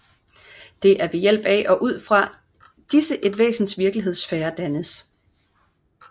Det er ved hjælp af og ud fra disse et væsens virkelighedssfære dannes